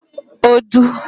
odu